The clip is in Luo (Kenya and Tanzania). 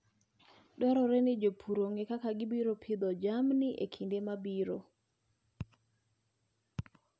Dwarore ni jopur ong'e kaka gibiro pidho jamni e kinde mabiro.